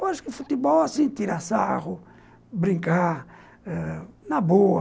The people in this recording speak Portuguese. Eu acho que o futebol é assim, tirar sarro, brincar ãh... na boa.